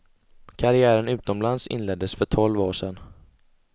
Karriären utomlands inleddes för tolv år sedan.